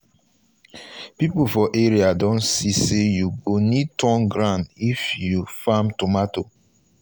people for area don see say you go need turn ground if you farm tomato.